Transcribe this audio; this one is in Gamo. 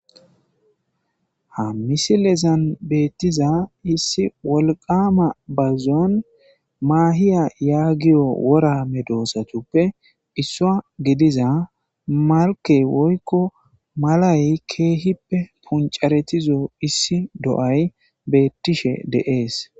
Ha missilezan betiza wolqama bazuwan diza mahiya yagiyo wora medosatupe isuwa gidiza malke woyko malay kehipe c'aretizo do'ay betishe dees.